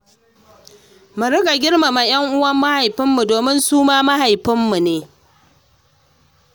Mu riƙa girmama 'yan uwa mahaifin mu domin suma iyayen mu ne.